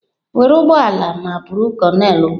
Were ụgbọ ala ma buru konel ugbu a.